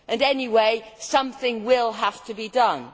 Anyway, something will have to be done.